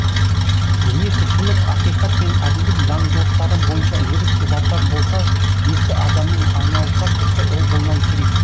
дүние тіршілік ақиқат пен әділдік заңдылықтары бойынша өріс ұзартар болса есті адамның айналысар ісі ол болмау керек